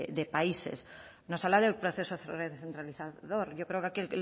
de países nos habla del proceso recentralizador yo creo que aquí